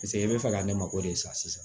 Paseke i bɛ fɛ ka ne mako de sa